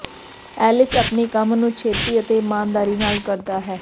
Alice ਆਪਣੀ ਕੰਮ ਨੂੰ ਛੇਤੀ ਅਤੇ ਇਮਾਨਦਾਰੀ ਨਾਲ ਕਰਦਾ ਹੈ